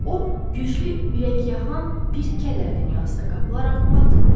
o güclü ürəkyaxan bir kədər dünyasına qapılaraq addımlayırdı.